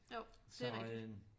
Jo det er rigtig